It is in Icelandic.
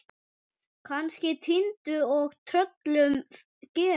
Kannski týndur og tröllum gefinn.